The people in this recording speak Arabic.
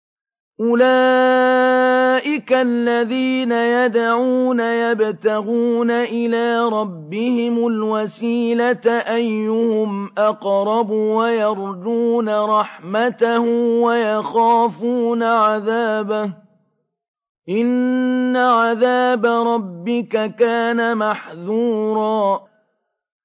أُولَٰئِكَ الَّذِينَ يَدْعُونَ يَبْتَغُونَ إِلَىٰ رَبِّهِمُ الْوَسِيلَةَ أَيُّهُمْ أَقْرَبُ وَيَرْجُونَ رَحْمَتَهُ وَيَخَافُونَ عَذَابَهُ ۚ إِنَّ عَذَابَ رَبِّكَ كَانَ مَحْذُورًا